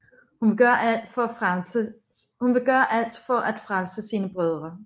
Hun vil gøre alt for at frelse sine brødre